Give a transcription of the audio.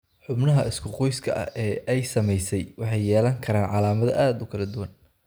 Xubnaha isku qoyska ah ee ay saamaysay waxay yeelan karaan calaamado aad u kala duwan.